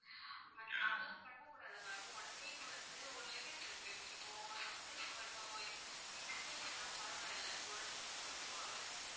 அந்த மாதிரியெல்லாம் பண்ண கூடாது ma'am one day க்கு வந்து ஒரு limit இருக்கு இப்போ sometimes இப்போ youngsters னா பரவால்ல ஒரு ஒரு two hour